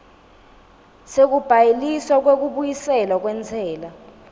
sekubhaliswa kwekubuyiselwa kwentsela